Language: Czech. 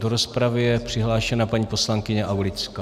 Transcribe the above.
Do rozpravy je přihlášena paní poslankyně Aulická.